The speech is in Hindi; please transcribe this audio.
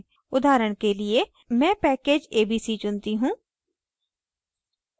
उदाहरण के लिए मैं package abc चुनती choose